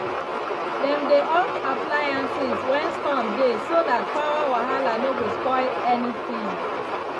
dem dey off appliances when storm dey so that power wahala no go spoil anything.